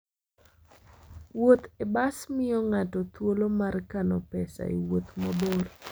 Wuoth e bas miyo ng'ato thuolo mar kano pesa e wuoth mabor.